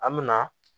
An me na